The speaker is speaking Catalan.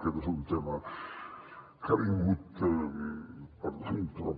aquest és un tema que ha vingut